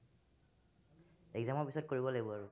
exam ৰ পিছত কৰিব লাগিব আৰু।